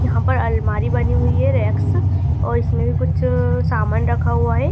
यहां पर अलमारी बनी हुई है रेक्स और इसमें कुछ सामना रखा हुआ है।